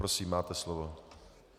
Prosím, máte slovo.